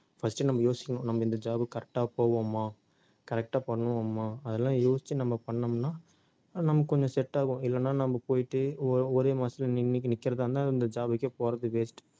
first நம்ம யோசிக்கணும், நம்ம இந்த job க்கு correct ஆ போவோமா correct ஆ பண்ணுவோமா அதெல்லாம் யோசிச்சு நம்ம பண்ணோம்னா நமக்கு கொஞ்சம் set ஆகும் இல்லன்னா நம்ம போயிட்டு ஒ~ ஒரே மாசத்துல நி~ நி~ நிக்கிறதா இருந்தா அந்த job க்கே போறது waste